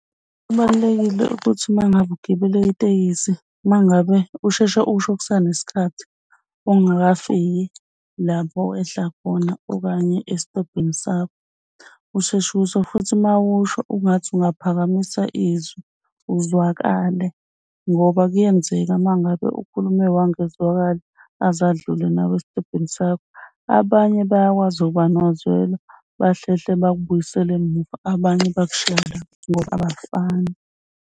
Kubalulekile ukuthi uma ngabe ugibele itekisi, uma ngabe usheshe usho kusanesikhathi ungakafiki lapho owehla khona okanye esitobhini sakho. Usheshe usho futhi uma usho ungathi ungaphakamisa izwi uzwakale ngoba kuyenzeka mangabe ukhulume wangezwakala aze adlule nawe esitobhini sakho. Abanye bayakwazi ukuba nozwela bahlehle bakubuyisele emuva, abanye bakushiye lapho abafani.